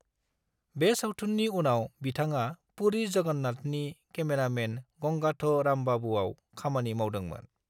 बे सावथुननि उनाव बिथाङा पुरी जगन्नाथनि केमेरामैन गंगाथ' रामबाबूआव खामानि मावदोंमोन।